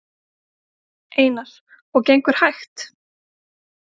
Einar: Og gengur hægt?